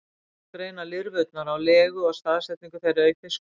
einnig má greina lirfurnar á legu og staðsetningu þeirra í fiskum